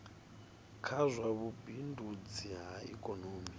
kha zwa vhubindudzi ha ikomoni